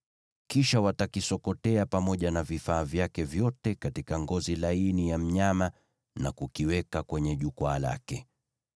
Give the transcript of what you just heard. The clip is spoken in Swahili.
Kisha watakisokotea pamoja na vifaa vyake vyote katika ngozi za pomboo na kukiweka kwenye jukwaa lake.